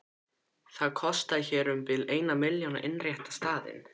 Það kostaði hér um bil eina milljón að innrétta staðinn.